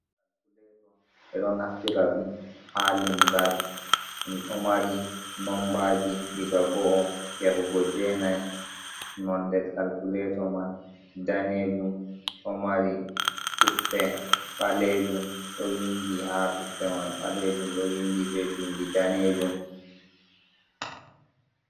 Kalkuleto e ɗo naftira ɗum ha limgal ɗo mari nombaji diga 1o’o yahugo jenai nonɗe kalkuleto man danejum ɗo mari tuppe balejum ɗo windi ha tuppe man balejum ɗo windi be bindi danejum.